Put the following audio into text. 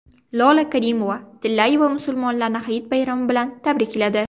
Lola Karimova-Tillayeva musulmonlarni Hayit bayrami bilan tabrikladi.